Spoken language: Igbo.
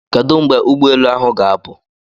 Kedu mgbe ụgbọ elu ahụ ga-apụ?